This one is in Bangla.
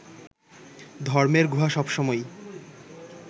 ধর্মের গুহা সবসময়ই